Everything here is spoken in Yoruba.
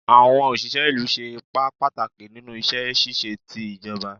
Awọn oṣiṣẹ ilu ṣe ipa pataki ninu iṣẹ ṣiṣe ti ijọba